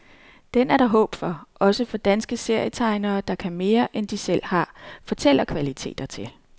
Den er der håb for, også for danske serietegnere der kan mere, end de selv har fortællekvaliteter til.